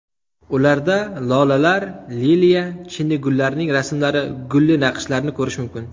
Ularda lolalar, liliya, chinnigullarning rasmlari, gulli naqshlarni ko‘rish mumkin.